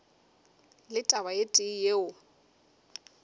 le taba e tee yeo